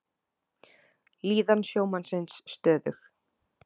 Líðan sjómannsins stöðug